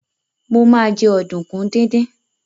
Mo ma jẹ́ ọ̀dùnkún díndín